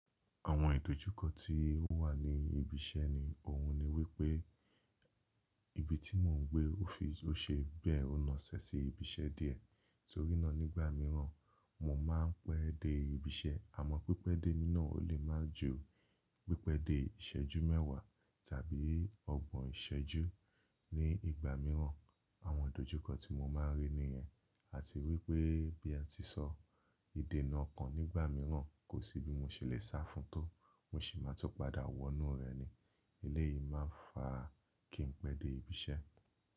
Àwọn ìdojúkọ tí ó wà ní ibi iṣẹ́ ni òun ni wípé ibi tí mò ń gbé ó fi, ó ṣe bẹ́ẹ̀ ó na ṣẹ̀ sí ibi iṣẹ́ díẹ̀. Torí náà nígbà mìíràn mo máa ń pẹ́ dé ibi iṣẹ́ àmọ́ pípẹ́ dé mi nàa ó lè má ju pípẹ́ dé ìṣẹ́jú mẹ́ẹ̀wá tàbí ọgbọ̀n ìṣẹ́jú ní ìgbà mìíràn. Àwọn ìdojúkọ tí mo máa ń rí nìyẹn àti wípé bí ẹ tí sọ ìdènà oko nígbà mìíràn kò sí bí mo ṣe lè sá fún tó, mo sì máa tó padà wọnú rẹ̀ ni eléyìí máa ń fa kí ń pẹ́ dé ibi iṣẹ́